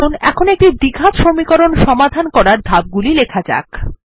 আসুন এখন একটি দ্বিঘাত সমীকরণ সমাধান করার ধাপগুলি লেখা যাক